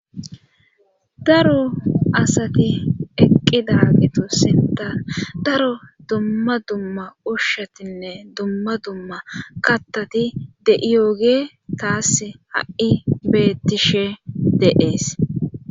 Daro asati eqqidaagetu sinttan daro dumma dumma ushatinne dumma dumma kattati de7iyoogey taassi ha7i beettishe de7ees.